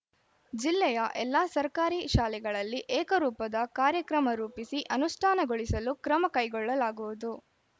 ಜಿಲ್ಲೆಯ ಎಲ್ಲಾ ಸರ್ಕಾರಿ ಶಾಲೆಗಳಲ್ಲಿ ಏಕರೂಪದ ಕಾರ್ಯಕ್ರಮ ರೂಪಿಸಿ ಅನುಷ್ಠಾನಗೊಳಿಸಲು ಕ್ರಮ ಕೈಗೊಳ್ಳಲಾಗುವುದು